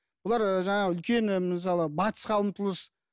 бұлар жаңағы үлкен мысалы батысқа ұмтылыс